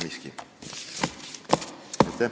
Aitäh!